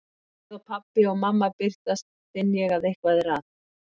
Um leið og pabbi og mamma birtast finn ég að eitthvað er að.